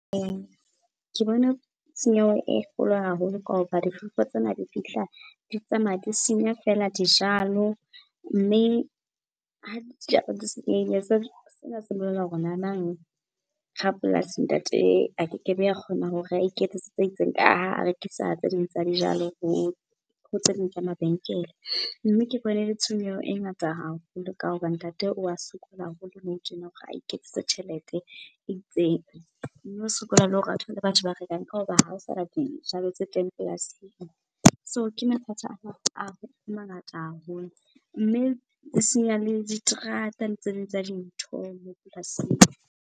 Ke bona tshenyeho e kgolo haholo ka hoba difefo tsena di fihla, di tsamaya, di senya fela dijalo mme ha dijalo di senyehile sena se bolela hore nanang rapolasi, ntate a keke be a kgona hore a iketsetse tse itseng ka ha a rekisa tse ding tsa dijalo ho tse ding tsa mabenkele. Mme ke bone e le tshenyeho e ngata haholo ka hoba ntate o wa sokola haholo tjena hore a iketsetse tjhelete e itseng. Mme o sokola le hore a thole batho ba rekang ka hoba hao sana dijalo tse teng polasing. So ke mathata a mangata haholo, mme e senya le diterata le tse ding tsa dintho moo polasing.